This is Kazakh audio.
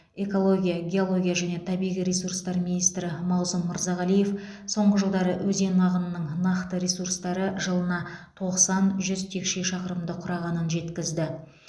экология геология және табиғи ресурстар министрі мағзұм мырзағалиев соңғы жылдары өзен ағынының нақты ресурстары жылына тоқсан жүз текше шақырымды құрағанын жеткізді